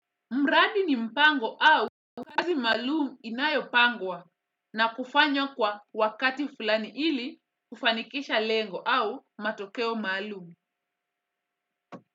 Mradi ni mpango au kazi maalumu inayopangwa na kufanywa kwa wakati fulani ili kufanikisha lengo au matokeo maalum.